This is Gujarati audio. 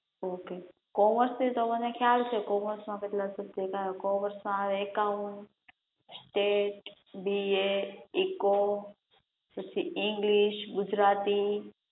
ઓકે કોમર્સ નું તો મને ખ્યાલ છે, કોમર્સ માં કેટલા સબ્જેક્ટ આવે, કોમર્સ માં એકાઉન્ટ, સ્ટેટ, બીએ, ઇકો, પછી ઇંગલિશ, ગુજરાતી